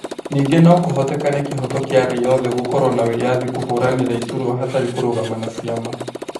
Ningĩ nokũhotekane kĩhoto kĩa raia othe gũkorwo na wĩyathi kũhũranĩra iturwa hatarĩ kũrũgama na ciama